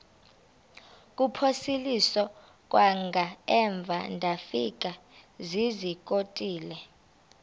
kuphosiliso kwangaemva ndafikezizikotile